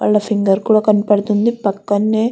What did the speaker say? వాళ్ళ ఫింగర్ కూడా కనపడుతుంది పక్కన్నే --